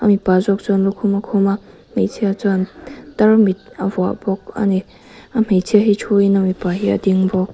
mipa zawk chuan lukhum a khum a hmeichhia chuan tarmit a vuah bawk ani a hmeichhia hi thu in a mipa hi a ding bawk.